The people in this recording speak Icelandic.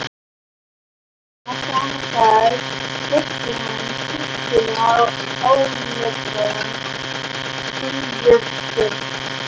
Seinna sama dag festi hann á kistuna áletraðan silfurskjöld.